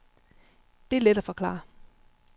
Det er let at forklare.